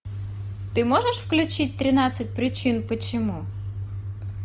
ты можешь включить тринадцать причин почему